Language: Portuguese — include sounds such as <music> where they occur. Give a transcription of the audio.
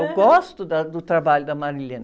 Eu gosto da, do trabalho da. <unintelligible>